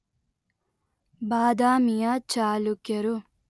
ಬಾದಾಮಿಯ ಚಾಲುಕ್ಯರು